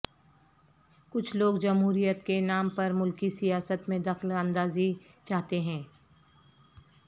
کچھ لوگ جمہوریت کے نام پرملکی سیاست میں دخل اندازی چاہتے ہیں